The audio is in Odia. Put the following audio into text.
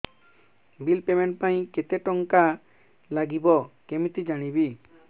ବିଲ୍ ପେମେଣ୍ଟ ପାଇଁ କେତେ କେତେ ଟଙ୍କା ଲାଗିବ କେମିତି ଜାଣିବି